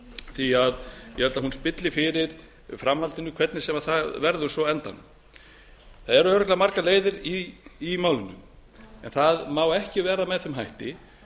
því ég held að hún spilli fyrir framhaldinu hvernig sem það verður svo á endanum það eru örugglega margar leiðir í málinu en það má ekki vera með þeim hætti